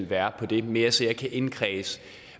være det er mere så jeg kan indkredse